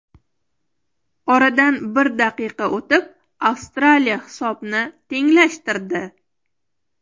Oradan bir daqiqa o‘tib Avstraliya hisobni tenglashtirdi.